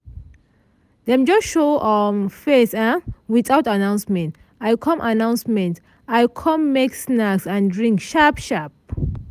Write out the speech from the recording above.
dem just show um face um without announcement; i com announcement; i com make snacks and drink sharp sharp.